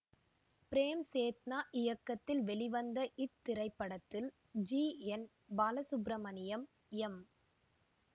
frame Chetna இயக்கத்தில் வெளிவந்த இத்திரைப்படத்தில் ஜி என் பாலசுப்பிரமணியம் எம்